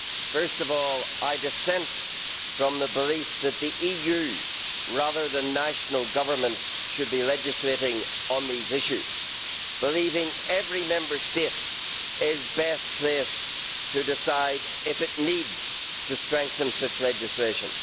First of all, I dissent from the belief that the EU, rather than national governments, should be legislating on these issues, believing every Member State is best placed to decide if it needs to strengthen such legislation.